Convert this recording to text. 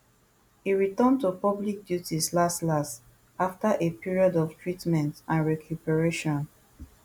e return to public duties last last april afta a period of treatment and recuperation